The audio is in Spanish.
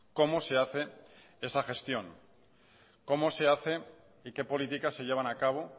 cómo se hace esa gestión cómo se hace y qué políticas se llevan a cabo